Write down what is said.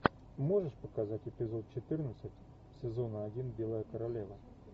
можешь показать эпизод четырнадцать сезона один белая королева